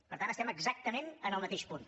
per tant estem exactament en el mateix punt